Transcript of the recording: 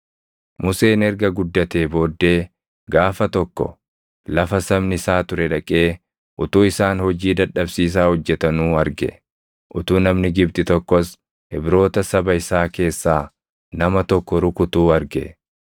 Museen erga guddatee booddee gaafa tokko lafa sabni isaa ture dhaqee utuu isaan hojii dadhabsiisaa hojjetanuu arge; utuu namni Gibxi tokkos Ibroota saba isaa keessaa nama tokko rukutuu arge.